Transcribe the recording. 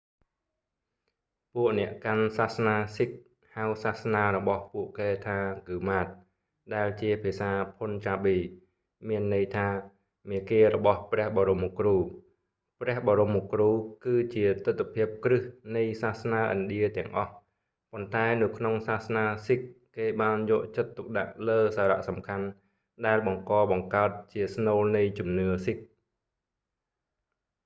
ពួកអ្នកកាន់សាសនាស៊ីគហ៍ sikh ហៅសាសនារបស់ពួកគេថាហ្គឺម៉ាត gurmat ដែលជាភាសាភុនចាប៊ី punjabi មានន័យថា មាគ៌ារបស់ព្រះបរមគ្រូ ព្រះបរមគ្រូគឺជាទិដ្ឋភាពគ្រឹះនៃសាសនាឥណ្ឌាទាំងអស់ ប៉ុន្តែនៅក្នុងសាសនាស៊ីគហ៍ គេបានយកចិត្តទុកដាក់លើសារៈសំខាន់ដែលបង្កបង្កើតជាស្នូលនៃជំនឿស៊ីគហ៍